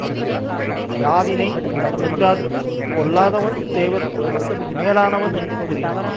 அது யாதினைத் தருமென்றார்க்குக் கொல்லாதவன் தேவர்க்கும் மேலாவனென்று கூறினார்